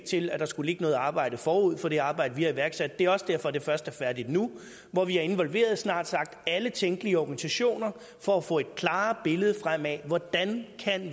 til at der skulle ligge noget arbejde forud for det arbejde vi har iværksat det er også derfor det først er færdigt nu hvor vi har involveret snart sagt alle tænkelige organisationer for at få et klarere billede frem af hvordan